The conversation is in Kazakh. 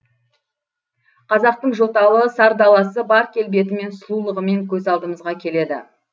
қазақтың жоталы сар даласы бар келбетімен сұлулығымен көз алдымызға келеді